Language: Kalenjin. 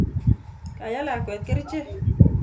Kaye lakwet kerichek